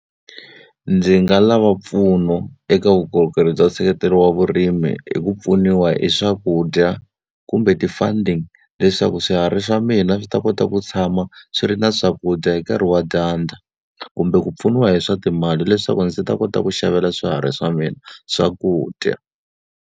Ndzi nga lava mpfuno eka vukorhokeri bya nseketelo wa vurimi hi ku pfuniwa hi swakudya, kumbe ti-funding. Leswaku swiharhi swa mina swi ta kota ku tshama swi ri na swakudya hi nkarhi wa dyandza. Kumbe ku pfuniwa hi swa timali leswaku ndzi ta kota ku xavela swiharhi swa mina swakudya.